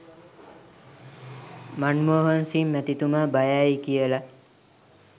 මන්මෝහන් සිං මැතිතුමා බය ඇයි කියලා